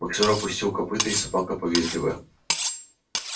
боксёр опустил копыто и собака повизгивая